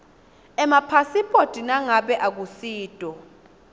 emapasiphoti nangabe akusito